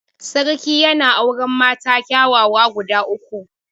Sarki yana auren mata kyawawa guda uku.